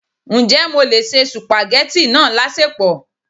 Ǹjẹ́ mo lè se supageti náà láṣẹpò?